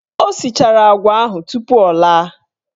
O sichara agwa ahụ tupu o laa.